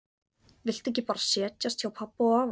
Viltu ekki bara setjast hjá pabba og afa?